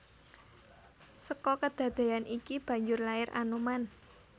Seka kedadeyan iki banjur lair Anoman